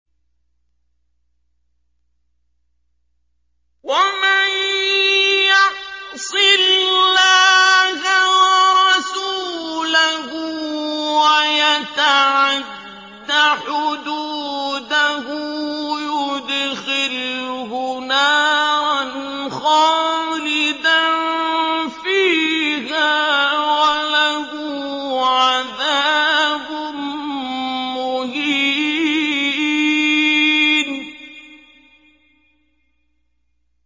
وَمَن يَعْصِ اللَّهَ وَرَسُولَهُ وَيَتَعَدَّ حُدُودَهُ يُدْخِلْهُ نَارًا خَالِدًا فِيهَا وَلَهُ عَذَابٌ مُّهِينٌ